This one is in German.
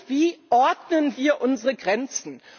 Wie ordnen wir unsere Grenzen?